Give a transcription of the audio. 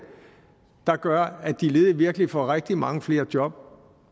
der gør at de ledige virkelig får rigtig mange flere job